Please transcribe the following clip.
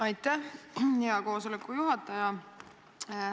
Aitäh, hea koosoleku juhataja!